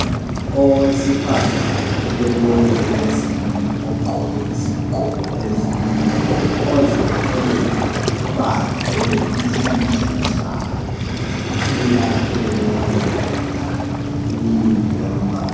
Owesifazane olenwele ezinde ogqoke isigqoko ezinde ozithweleyo ubambe isisu sakhe uyahlekelela umi ngemva.